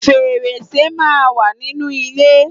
Fèrèsé máa ń wà nínú ilé